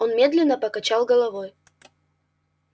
он медленно покачал головой